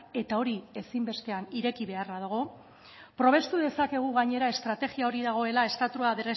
eta hori ezinbestean ireki beharra dago probestu dezakegu gainera estrategia hori dagoela estatua